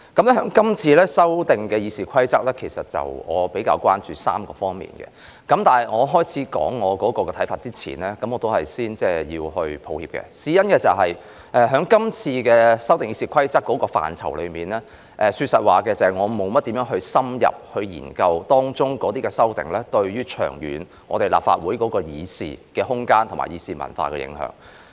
對於這次修訂《議事規則》，我比較關注3方面，但在我說出我的看法前，我要說一聲抱歉，事關就這次修訂《議事規則》的範疇，說實話，我沒有深入研究當中的修訂對立法會的議事空間和議事文化的長遠影響。